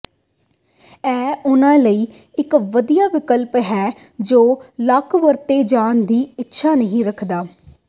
ਇਹ ਉਨ੍ਹਾਂ ਲਈ ਇਕ ਵਧੀਆ ਵਿਕਲਪ ਹੈ ਜੋ ਲਾਕ ਵਰਤੇ ਜਾਣ ਦੀ ਇੱਛਾ ਨਹੀਂ ਰੱਖਦਾ